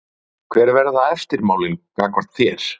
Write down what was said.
Kristinn: Hver verða eftirmálin gagnvart þér?